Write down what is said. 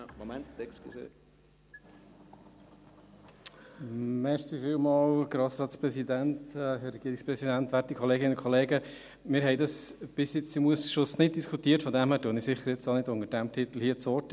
Bisher haben wir dies im Ausschuss nicht diskutiert, von daher ergreife ich jetzt hier sicher auch nicht unter diesem Titel das Wort.